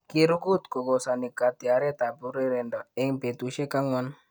Kirugut kokosani katyaret ap urerendo eng petusiek angwan